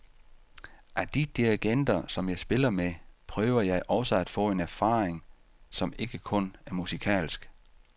Af de dirigenter, som jeg spiller med, prøver jeg også at få en erfaring, som ikke kun er musikalsk.